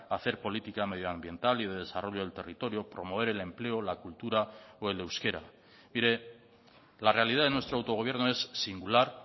hacer política medioambiental y de desarrollo del territorio promover el empleo la cultura o el euskera mire la realidad de nuestro autogobierno es singular